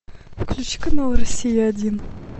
включи канал россия один